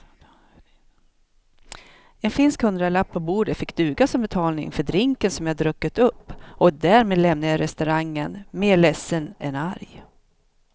En finsk hundralapp på bordet fick duga som betalning för drinken som jag druckit upp och därmed lämnade jag restaurangen mer ledsen än arg.